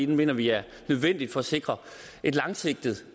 mener vi er nødvendig for at sikre langsigtet